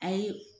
Ayi